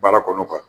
Baara kɔnɔ